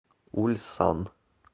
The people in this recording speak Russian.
ульсан